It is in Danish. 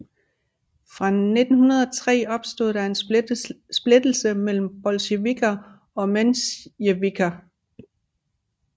Fra 1903 opstod der en splittelse mellem bolsjevikker og mensjevikker